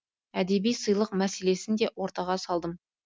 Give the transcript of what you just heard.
әдеби сыйлық мәселесін де ортаға салдым